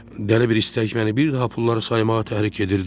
Dəli bir istək məni bir daha pulları saymağa təhrik edirdi.